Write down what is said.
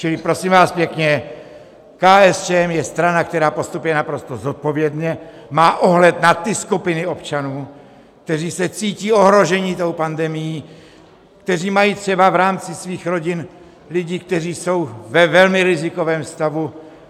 Čili prosím vás pěkně, KSČM je strana, která postupuje naprosto zodpovědně, má ohled na ty skupiny občanů, kteří se cítí ohroženi tou pandemií, kteří mají třeba v rámci svých rodin lidi, kteří jsou ve velmi rizikovém stavu.